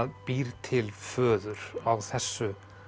býr til föður á þessu